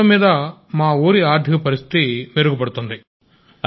మొత్తం మీద మా ఊరి ఆర్థిక పరిస్థితి మెరుగుపడుతోంది